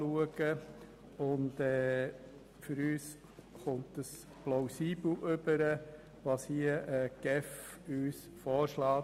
Für uns mutet es plausibel an, was uns die GEF hier vorschlägt.